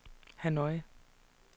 Hanoi